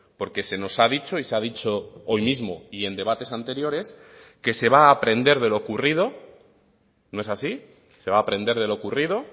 porque se nos ha dicho y se ha dicho hoy mismo y en debates anteriores que se va a aprender de lo ocurrido no es así se va a aprender de lo ocurrido